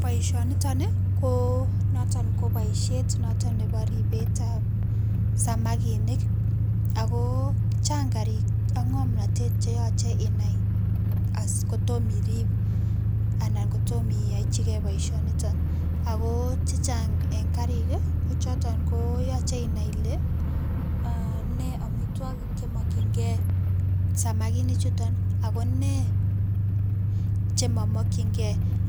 Poishonitoni ko noton ko poishet noto nebo ripet ap samakinik Ako Chang karik ak ng'omnotet cheachei inai kotomirip, ana kotomo iyaiboisioniton Ako checheang eng karik kochoton ko yochei inai ile me omitwokik che mokchinke samakinik chuton akone chemamakchinke